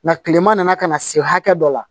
Nka kilema nana ka na se hakɛ dɔ la